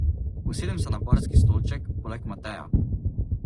Usedem se na barski stolček poleg Mateja.